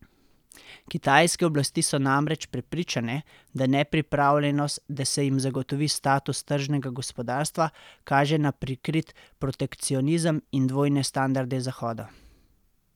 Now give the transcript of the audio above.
Kitajske oblasti so namreč prepričane, da nepripravljenost, da se jim zagotovi status tržnega gospodarstva, kaže na prikrit protekcionizem in dvojne standarde Zahoda.